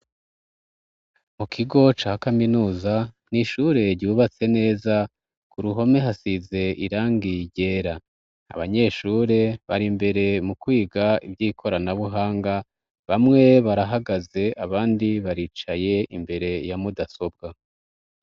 Mu kigo ca kaminuza nishure ryubatse neza ku ruhome hasize irangiye ryera abanyeshure bari imbere mu kwiga ivyo ikorana buhanga bamwe barahagaze abandi baricaye imbere ya mudasobwa.